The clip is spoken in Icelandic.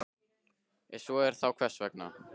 Ef svo er, þá hvers vegna?